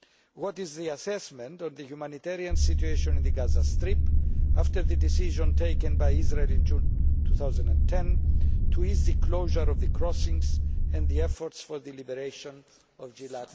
What is the assessment of the humanitarian situation in the Gaza Strip after the decision taken by Israel in June 2010 to ease the closure of the crossings and the efforts for the liberation of Gilad Shalit?